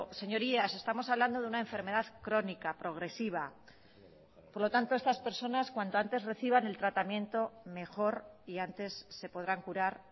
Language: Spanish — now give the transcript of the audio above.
señorías estamos hablando de una enfermedad crónica progresiva por lo tanto estas personas cuanto antes reciban el tratamiento mejor y antes se podrán curar